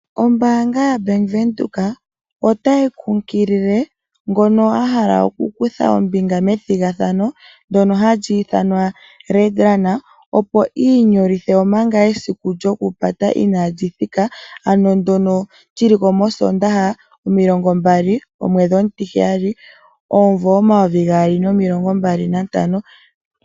Ombanga yaBank Widheok otayi kukilile ngono ahala okukutha ombinga methingathano ndono hayi ithanwa RedRun opo inyolithe omanga esiku lyokupata inalithika ano ndono lyiliko mosondaha mo 20 ,07 ,2025.